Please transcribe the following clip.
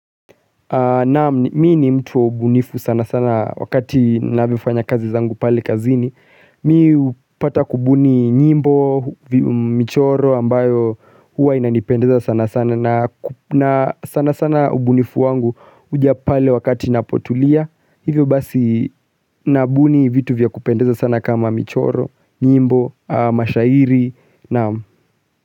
Naam, mii ni mtu wa ubunifu sana sana wakati navyofanya kazi zangu pale kazini Mimi hupata kubuni nyimbo, michoro ambayo huwa inanipendeza sana sana na sana sana ubunifu wangu huja pale wakati napotulia Hivyo basi nabuni vitu vya kupendeza sana kama michoro, nyimbo, mashairi Naam.